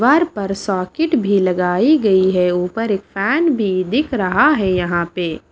दिवार पर सॉकेट भी लगाई गई है ऊपर एक फैन भी दिख रहा है यहां पे।